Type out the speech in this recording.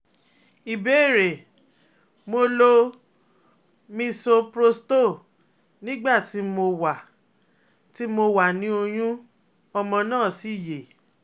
Ìbéèrè: Mo lo Misoprostol nígbà tí mo wà tí mo wà ni oyun, ọmọ náà sì yè